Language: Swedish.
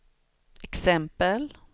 exempel